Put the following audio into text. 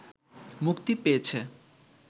মুক্তি পেয়েছে